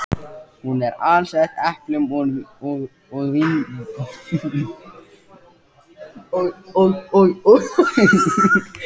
Hún er alsett eplum og vínberjum.